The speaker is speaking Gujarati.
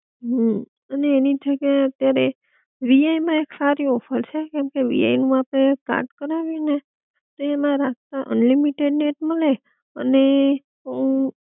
હમ અને એની જગ્યા અત્યયારે એક વી આઇ માં એક સારી ઓફર છે, કેમકે વી આઇ માં આપડે સ્ટાર્ટ કરાવીએ ને તે એમ રેટ માં અનલિમિટેડ નેટ મલે અને અમ હમ